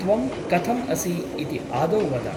त्वं कथम् असि इति आदौ वद ।